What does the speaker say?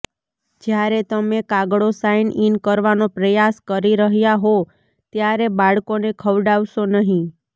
જ્યારે તમે કાગળો સાઇન ઇન કરવાનો પ્રયાસ કરી રહ્યા હો ત્યારે બાળકોને ખવડાવશો નહીં